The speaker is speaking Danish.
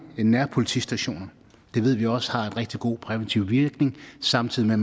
nærpolitistationer det ved vi også har rigtig god præventiv virkning samtidig med